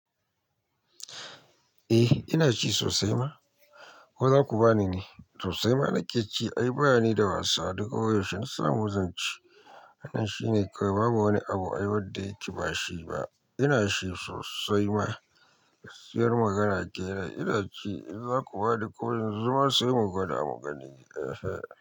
Eh ina ci sosai ma ko za ku bani ne? Sosai ma nake cewa ai ba ni da wasu, a duk waishe nasamu zanci. Wannan shi ne kawai babu wani abu ai wadda yake bashi ba. Ina shi sosai ma, gaskiyar magana kenan. Ina ci in za ku ba ni ko yanzu ma sai mugwada mugani.